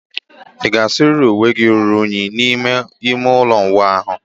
Ị ga-asụrịrị uwe ruru unyi n'ime ime ụlọ ịwụ ahụ?